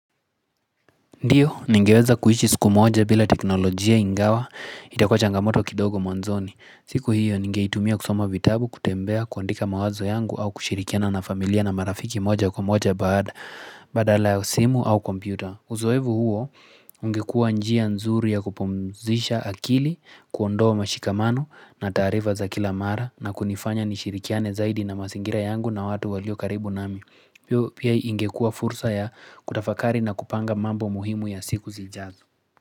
Ndiyo, ningeweza kuishi siku moja bila teknolojia ingawa itakuwa changamoto kidogo mwanzoni. Siku hiyo ningeitumia kusoma vitabu kutembea kuandika mawazo yangu au kushirikiana na familia na marafiki moja kwa moja badala ya simu au kompyuta Uzoevu huo ungekua njia nzuri ya kupumzisha akili kuondoa mashikamano na taarifa za kila mara na kunifanya nishirikiane zaidi na mazingira yangu na watu walio karibu nami. Pia ingekua fursa ya kutafakari na kupanga mambo muhimu ya siku zijazo.